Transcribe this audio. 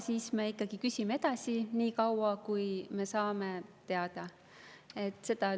Siis me ikkagi küsime edasi, niikaua kuni me saame teada.